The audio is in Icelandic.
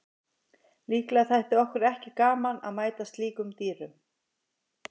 Líklega þætti okkur ekki gaman að mæta slíkum dýrum.